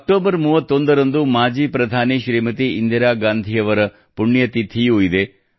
October 31 ರಂದು ಮಾಜಿ ಪ್ರಧಾನಿ ಶ್ರೀಮತಿ ಇಂದಿರಾ ಗಾಂಧಿಯವರ ಪುಣ್ಯತಿಥಿಯೂ ಇದೆ